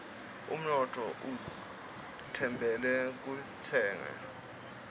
unotfo utfembele kuntshengo